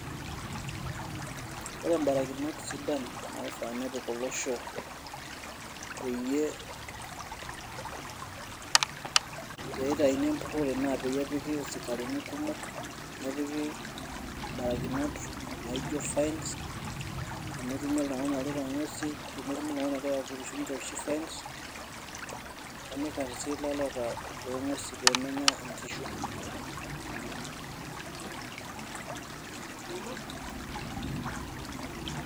Ore barakinot sidan naifaa nepik olosho, peyie [] itauni empurrore na peyie epiki isikarini kumok, nepiki barakinot naijo fines ,tenetumi oltung'ani orita ng'uesin, tenetumi oltung'ani ogira apurisho nitooshi fine. Nikarri si laleta lo ng'uesin pemenya inkishu.